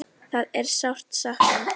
Það er sárt sakna.